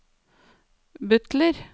butler